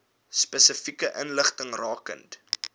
spesifieke inligting rakende